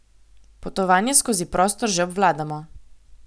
Potovanje skozi prostor že obvladamo.